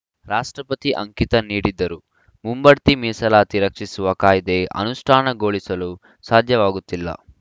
ರಾಷ್ಟ್ರಪತಿ ಅಂಕಿತ ನೀಡಿದ್ದರೂ ಮುಂಬಡ್ತಿ ಮೀಸಲಾತಿ ರಕ್ಷಿಸುವ ಕಾಯ್ದೆ ಅನುಷ್ಠಾನಗೊಳಿಸಲು ಸಾಧ್ಯವಾಗುತ್ತಿಲ್ಲ